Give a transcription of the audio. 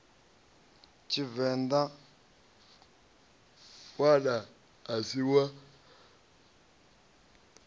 tshivenḓa ṋwana a si wa